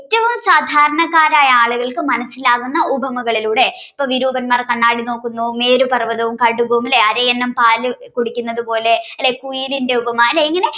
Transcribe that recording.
ഏറ്റവും സാധാരണക്കാർക്ക് മനസ്സിലാകുന്ന ഉപമകളിലൂടെ വിരൂപന്മാർ കണ്ണാടി നോക്കുന്നു നേര് പര്വതവും കടുകും ലെ അരയന്നം പാല് കുടിക്കുന്നത് പോലെ ലെ കുയിലിന്റെ ഉപമ ലെ ഇങ്ങനെ